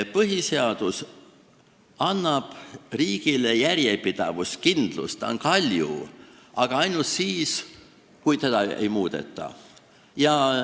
Põhiseadus annab riigile järjepidavust, kindlust, ta on kalju – aga ainult siis, kui teda ei muudeta.